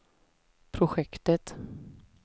projektet